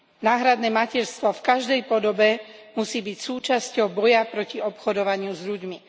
Náhradné materstvo v každej podobe musí byť súčasťou boja proti obchodovaniu s ľuďmi.